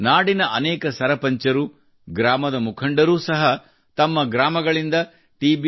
ನಾಡಿನ ಅನೇಕ ಸರಪಂಚ್ ರು ಗ್ರಾಮದ ಮುಖಂಡರೂ ಸಹ ತಮ್ಮ ಗ್ರಾಮಗಳಿಂದ ಟಿ